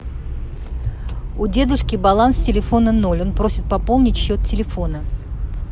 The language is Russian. у дедушки баланс телефона ноль он просит пополнить счет телефона